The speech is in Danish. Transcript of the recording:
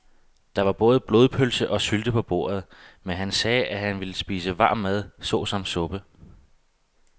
Der var både blodpølse og sylte på bordet, men han sagde, at han bare ville spise varm mad såsom suppe.